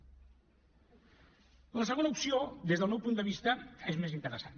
la segona opció des del meu punt de vista és més interessant